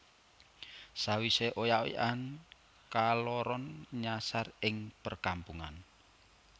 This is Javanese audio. Sawise oyak oyakan kaloron nyasar ing perkampungan